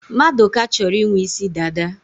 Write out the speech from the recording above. Maduka chọrọ ị nwe isi dada.